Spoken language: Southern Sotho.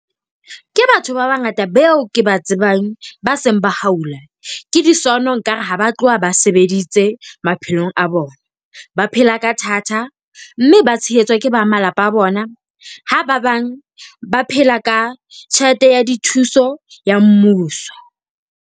Ke batho ba bangata beo ke ba tsebang, ba seng ba haula. Ke di sono. Nkare ha ba tloha ba sebeditse maphelong a bona, ba phela ka thata. Mme ba tshehetswa ke ba malapa a bona. Ha ba bang ba phela ka tjhelete ya dithuso ya mmuso.